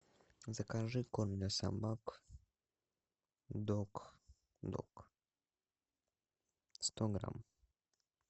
закажи корм для собак дог дог сто грамм